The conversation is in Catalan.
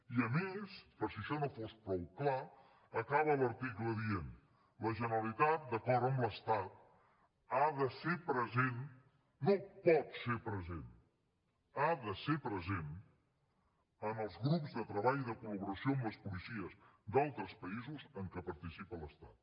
i a més per si això no fos prou clar acaba l’article dient la generalitat d’acord amb l’estat ha de ser present no pot ser present ha de ser present en els grups de treball i de col·laboració amb les policies d’altres països en què participa l’estat